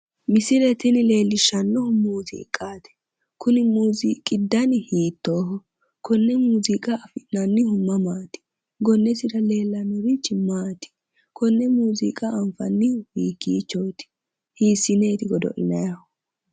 Misile tini leellishshannohu muuziiqaati kuni muuziiqi dani hiittooho konne muuziiqa afi'nannihu mamaati gonnesira leellannorichi maati konne muuziiqa anfannihu hiikkiichooti hiissineeti godo'linayhu